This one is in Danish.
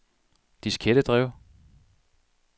diskettedrev